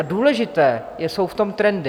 A důležité jsou v tom trendy.